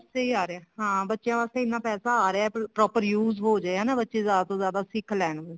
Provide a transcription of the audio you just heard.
ਸਹੀ ਆ ਰਿਹਾ ਹਾਂ ਬੱਚਿਆਂ ਵਾਸਤੇ ਇੰਨਾ ਪੈਸਾ ਆ ਰਿਹਾ proper use ਹੋ ਰਿਹਾ ਹਨਾ ਬੱਚੇ ਜਿਆਦਾ ਤੋਂ ਜਿਆਦਾ ਸਿੱਖ ਲੈਣ